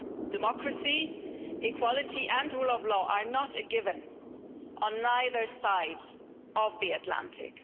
Democracy, equality and rule of law are not a given on either side of the Atlantic.